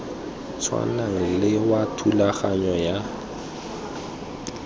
tshwanang le wa thulaganyo ya